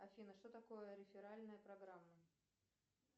афина что такое реферальная программа